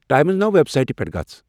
Times Now web سایٹِہ پیٹھ گژھ ۔